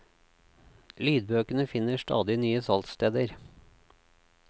Lydbøkene finner stadig nye salgssteder.